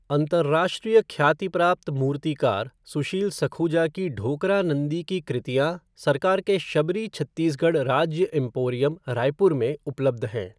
अंतरराष्ट्रीय ख्याति प्राप्त मूर्तिकार सुशील सखुजा की ढोकरा नंदी की कृतियाँ सरकार के शबरी छत्तीसगढ़ राज्य एम्पोरियम, रायपुर में उपलब्ध हैं।